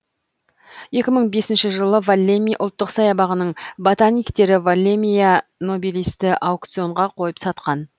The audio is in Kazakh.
екі мың бесінші жылы воллеми ұлттық саябағының ботаниктері воллемия нобилисті аукционға қойып сатқан